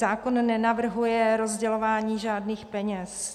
Zákon nenavrhuje rozdělování žádných peněz.